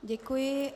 Děkuji.